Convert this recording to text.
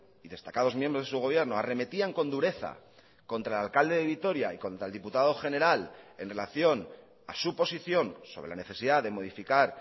y destacados miembros de su gobierno arremetían con dureza contra el alcalde de vitoria y contra el diputado general en relación a su posición sobre la necesidad de modificar